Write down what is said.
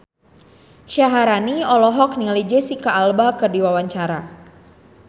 Syaharani olohok ningali Jesicca Alba keur diwawancara